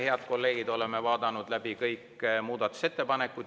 Head kolleegid, oleme vaadanud läbi kõik muudatusettepanekud.